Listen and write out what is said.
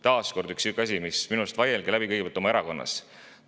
Taas kord üks sihuke asi, mis tuleks minu arust kõigepealt läbi vaielda oma erakonnas.